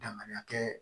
Danganiya kɛ